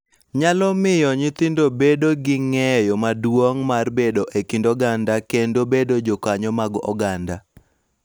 Nyalo miyo nyithindo bedo gi ng�eyo maduong� mar bedo e kind oganda kendo bedo jokanyo mag oganda,